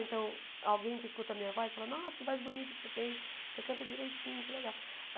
Então, alguém que escuta a minha voz fala, nossa, que voz bonita que você tem, você canta direitinho, que legal.